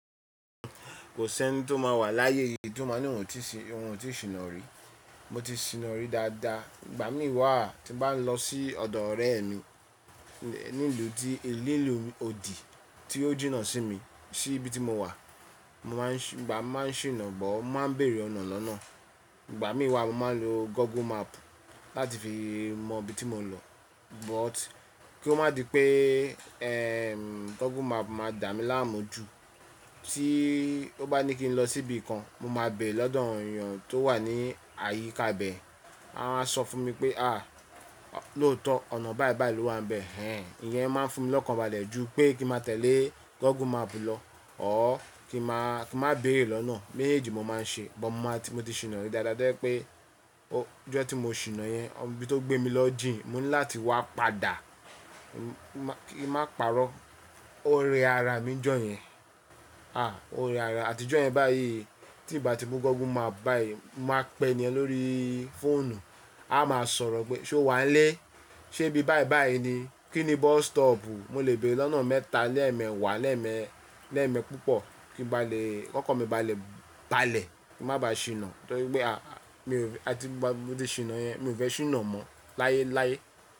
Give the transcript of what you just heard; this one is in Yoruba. Kò sí ẹni tí ó ma wà láyé yìí t'ó ma ní òun ò tí sìnà rí. Mo ti sì nà rí dáadáa. Ìgbà mí wà tí bá n lọ sí ọ̀dọ̀ ọ̀rẹ́ mi ní ìlú tí ìlú odi tí ó jìnnà sí mi, sí ibi tí mo wà, ìgbà má n sì nà gbọ́ má n bèèrè ọ̀nà lọ́nà. Ìgbà mí wà mo máa ń lo Google Map láàti fi mọ ibi tí mò ń lọ. But kí ó má di pé Google Map má dà mí láàmú jù. Tí ó bá ní kí n lọ sí bí kan, mo má bèrè lọ́dọ̀ àwon ìyàn tó wà ní àyíká ibẹ̀. A má sọ fún mi pé à lóòótọ́ ọ̀nà báyìí báyìí ló wà níbẹ̀. Hen ìyẹn má fún mi lọ́kànbalẹ̀ ju pé kí ma tẹ̀lé Google Map lọ. Ọ kí ma béèrè lọ́nà. Méjèèjì mo má n ṣe. Bọ̀ mo ti sì nà rí dáadáa jẹ́ pé ọ jọ́ tí mo sì nà yẹn, bí tó gbé mi lọ jìn mo ní lá ti wá padà. Ki má pa'rọ́, ó rẹ ara mi ní jọ́ yẹn. À ó rẹ ara. Àtijọ́ yẹn báyìí tí ì bá ti mú Google Map báyìí, má pe ènì yẹn lóri fóònù. A má sọ̀rọ̀ pé ṣe ó wà ń lé, ṣe bí báyìí báyìí ni. Kí ni bus stop? Mo lè bèrè l'ọ́nà mẹ́ẹ̀ta, lẹ́ẹ̀ mẹ́ẹ̀wá, lẹ́ẹ̀ mẹ́ẹ̀ púpọ̀, kí n ba lè, kí ọkàn mi balè ba'lẹ̀, kí n máà ba ṣìnà, to rí pé àtì gbà tí mo ti ṣìnà yẹn, mi fẹ́ ṣìnà mọ́ láyéláyé.